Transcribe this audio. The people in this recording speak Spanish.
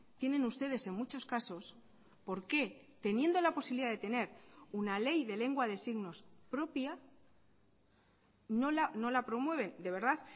tienen ustedes en muchos casos por qué teniendo la posibilidad de tener una ley de lengua de signos propia no la promueven de verdad